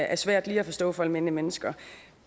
er svært lige at forstå for almindelige mennesker